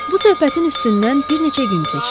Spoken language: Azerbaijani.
Bu söhbətin üstündən bir neçə gün keçdi.